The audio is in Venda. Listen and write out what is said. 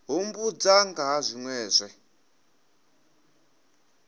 humbudza nga ha zwinwe zwe